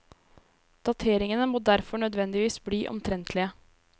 Dateringene må derfor nødvendigvis bli omtrentlige.